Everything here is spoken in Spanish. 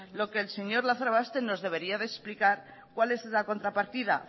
lo que el señor lazarobaster nos debería de explicar cuál es la contrapartida